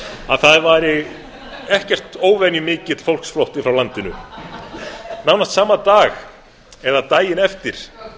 að það væri ekkert óvenjumikill fólksflótti frá landinu nánast sama dag eða daginn eftir